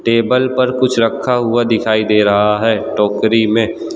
Table पर कुछ रखा हुआ दिखाई दे रहा है टोकरी में।